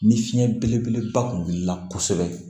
Ni fiɲɛ belebeleba kun wulila kosɛbɛ